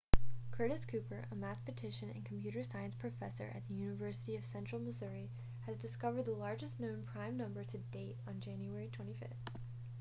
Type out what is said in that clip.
curtis cooper a mathematician and computer science professor at the university of central missouri has discovered the largest known prime number to date on january 25